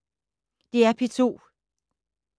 DR P2